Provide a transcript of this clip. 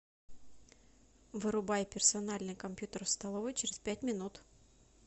вырубай персональный компьютер в столовой через пять минут